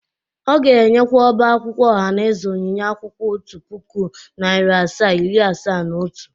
Ọ ga-enyekwa ọba akwụkwọ ohanaeze onyinye akwụkwọ otu puku, nari asaa, iri asaa na otu.